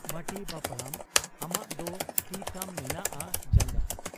ᱵᱟᱹᱴᱤ ᱵᱟᱹᱯᱲᱟᱹᱢ ᱟᱢᱟᱜ ᱫᱚ ᱛᱤ ᱛᱟᱢ ᱢᱮᱱᱟᱜ ᱟ ᱡᱟᱝᱜᱟ ?